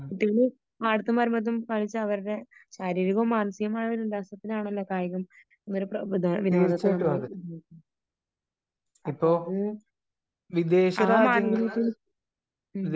കുട്ടികള് പാടത്തും വരമ്പത്തും കളിച്ച് അവരുടെ ശാരീരികവും മാനസികവും ആയ ഒരു ഉല്ലാസത്തിനാണല്ലോ കായിക വിനോദത്തെ നമ്മള് അപ്പോ അത് ആ